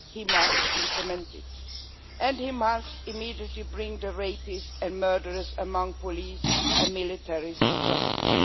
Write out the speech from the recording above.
he must implement it and must immediately bring the rapists and murderers among the police and military to justice.